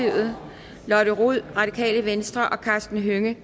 gade lotte rod og karsten hønge